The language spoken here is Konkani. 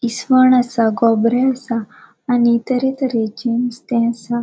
इसवण आसा गोबरे आसा आणि तरे तरेचे नुस्ते असा.